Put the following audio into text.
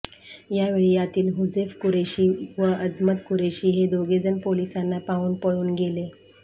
यावेळी यातील हुजेफ कुरेशी व अजमत कुरेशी हे दोघेजण पोलिसांना पाहून पळून गेले